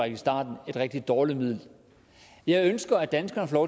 i starten et rigtig dårligt middel jeg ønsker at danskerne får